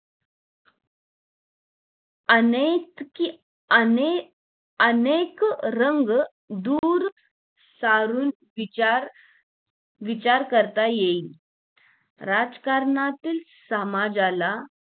अनेक अनेक अनेक रंग दूर सारून विचार विचार करता येईल राजकारणातील समाजाला